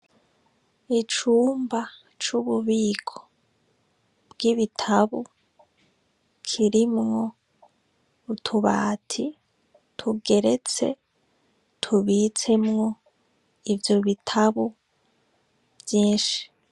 Icumba c'ububiko bwibitabu kirimwo utubati tugeretse tubitsemwo ivyo bitabu vyinshi.